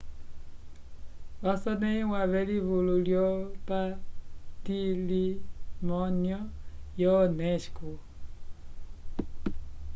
vasonẽhiwa v'elivulu lyopatilimonyu yo unesco